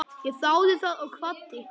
Ég þáði það og kvaddi.